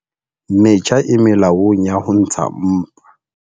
Metjha e molaong ya ho ntsha mpa.